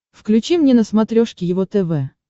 включи мне на смотрешке его тв